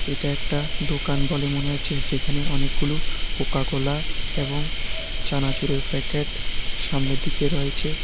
এটা একটা দোকান বলে মনে হচ্ছে যেখানে অনেকগুলো কোকা কোলা এবং চানাচুরের প্যাকেট সামনের দিকে রয়েছে।